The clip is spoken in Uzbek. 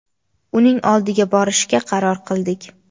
uning oldiga borishga qaror qildik.